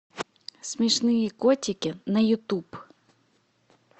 смешные котики на ютуб